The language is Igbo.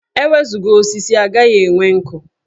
E wezuga osisi, a gaghị enwe nkụ.